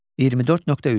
24.3.